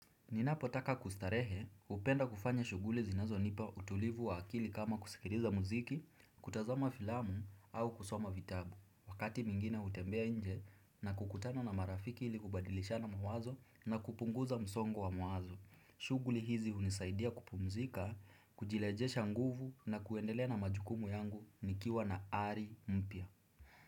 Ninapo taka kustarehe, hupenda kufanya shuguli zinazo nipa utulivu wa akili kama kusikiliza muziki, kutazama filamu au kusoma vitabu. Wakati mwingine hutembea nje na kukutana na marafiki ili kubadilisha na mawazo na kupunguza msongo wa mawazo. Shughuli hizi hunisaidia kupumzika, kujileje shanguvu na kuendelea na majukumu yangu nikiwa na ari mpya.